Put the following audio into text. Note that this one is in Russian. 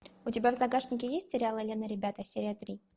у тебя в загашнике есть сериал элен и ребята серия три